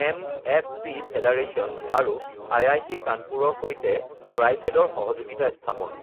MFP federation আৰু IIT, কানপুৰৰ সৈতে ট্ৰাইফেডৰ সহযোগিতা স্থাপন